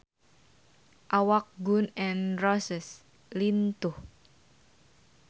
Awak Gun N Roses lintuh